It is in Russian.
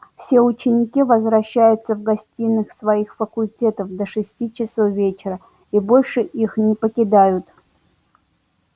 все ученики возвращаются в гостиные своих факультетов до шести часов вечера и больше их не покидают